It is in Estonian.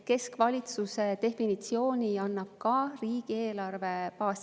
Keskvalitsuse definitsiooni annab riigieelarve baasseadus.